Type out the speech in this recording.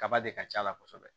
Kaba de ka c'a la kosɛbɛ